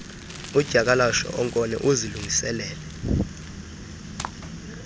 udyakalashe onkone uzilungisele